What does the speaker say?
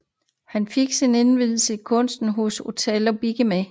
Han fik sin indvielse i kunsten hos Otello Bignami